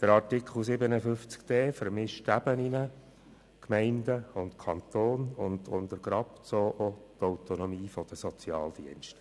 Artikel 57d (neu) vermischt die Ebenen von Gemeinden und Kanton und untergräbt so auch die Autonomie der Sozialdienste.